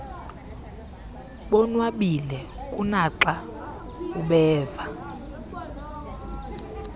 bonwabile kunaxa ubenza